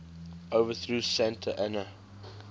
overthrew santa anna